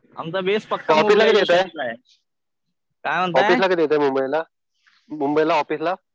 ऑफिसला कधी येताय? ऑफिसला कधी येताय मुंबईला? मुंबईला ऑफिसला